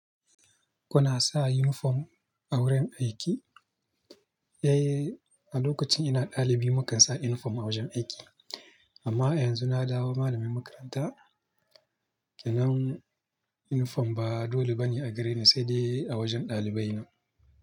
Kuna sa uniform a wurin aiki? Eh, a lokacin ina ɗalibi mukan sa uniform a wajen aiki. Amma yanzu na dawo malamin makaranta, kenan uniform ba dole ba ne a gare ni sai dai a wajen ɗalibai na.